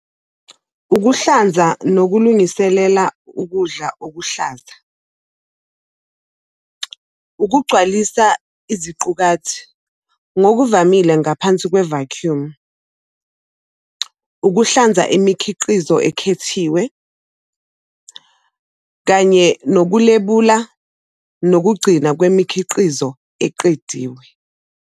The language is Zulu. Ukuhlanza nokulungiselela ukudla okuhlaza, ukugcwalisa iziqukathi, ngokuvamile ngaphansi kwe-vacuum, ukuhlanza imikhiqizo ekhethiwe, kanye nokulebula nokugcina kwemikhiqizo eqediwe.